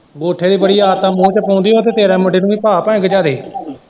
ਅੰਗੂਠਾ ਦੀ ਬੜੀ ਆਦਤ ਏ ਮੂੰਹ ਚ ਪਾਉਂਦੀ ਏ ਤੇ ਫੇਰ ਤੇਰੇ ਮੁੰਡੇ ਨੂੰ ਭਾਅ ਭਾਵੇਂ ਗਿਝਾ ਦੇ।